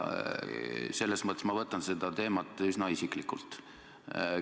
Selles mõttes ma võtan seda teemat üsna isiklikult.